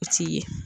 O t'i ye